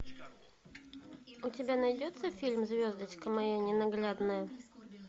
у тебя найдется фильм звездочка моя ненаглядная